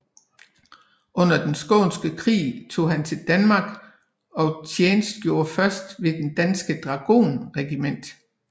Under den skånske krig tog han til Danmark og tjenstgjorde først ved et dansk dragonregiment